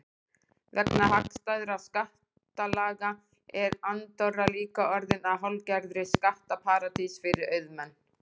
Vegna hagstæðra skattalaga er Andorra líka orðin að hálfgerðri skattaparadís fyrir auðmenn.